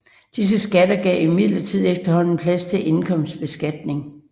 Disse skatter gav imidlertid efterhånden plads for indkomstbeskatning